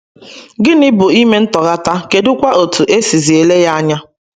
Gịnị bụ ime ntọghata, kedụ kwa etú e sizi ele ya anya?